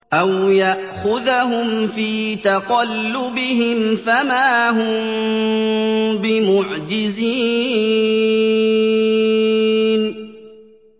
أَوْ يَأْخُذَهُمْ فِي تَقَلُّبِهِمْ فَمَا هُم بِمُعْجِزِينَ